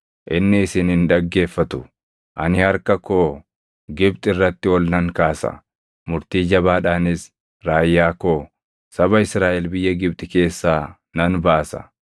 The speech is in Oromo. inni isin hin dhaggeeffatu. Ani harka koo Gibxi irratti ol nan kaasa; murtii jabaadhaanis raayyaa koo, saba Israaʼel biyya Gibxi keessaa nan baasa.